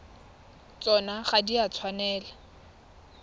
tsona ga di a tshwanela